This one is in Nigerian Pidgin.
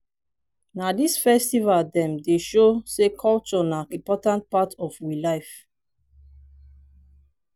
na dis festival dem dey show sey culture na important part of we life.